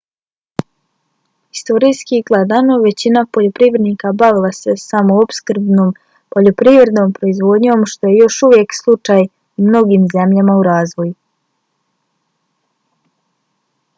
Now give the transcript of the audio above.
historijski gledano većina poljoprivrednika bavila se samoopskrbnom poljoprivrednom proizvodnjom što je još uvijek slučaj u mnogim zemljama u razvoju